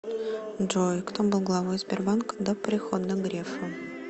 джой кто был главой сбербанка до прихода грефа